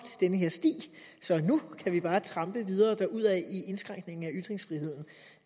den her sti så nu kan vi bare trampe videre derudad i indskrænkningen af ytringsfriheden